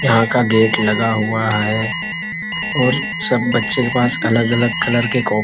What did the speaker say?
यहां का गेट लगा हुआ है और सब बच्चे के पास अलग-अलग कलर के कोपी--